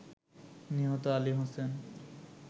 নিহত আলী হোসেন